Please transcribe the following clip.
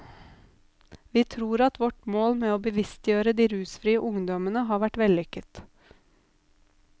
Vi tror at vårt mål med å bevisstgjøre de rusfrie ungdommene har vært vellykket.